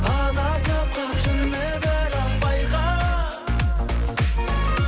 адасып қалып жүрме бірақ байқа